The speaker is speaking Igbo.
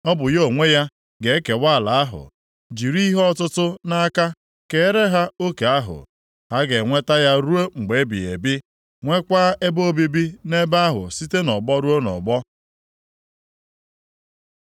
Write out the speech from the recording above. Ọ bụ ya onwe ya ga-ekewa ala ahụ, jiri ihe ọtụtụ nʼaka keere ha oke ahụ. Ha ga-enweta ya ruo mgbe ebighị ebi, nwekwa ebe obibi nʼebe ahụ site nʼọgbọ ruo nʼọgbọ.